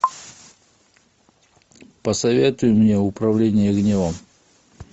посоветуй мне управление гневом